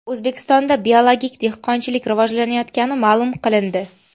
O‘zbekistonda biologik dehqonchilik rivojlanayotgani ma’lum qilindi.